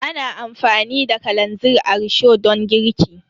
Ana amfani da kalanzir a risho don girki.